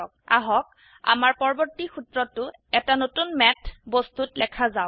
আহক আমাৰ পৰবৰ্তী সূত্ৰটো এটা নতুন ম্যাথ বস্তুত লেখা যাওক